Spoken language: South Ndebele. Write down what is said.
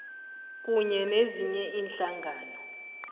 kanye nezinye iinhlangano